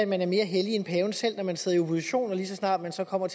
man er mere hellig end paven selv når man sidder i opposition og lige så snart man så kommer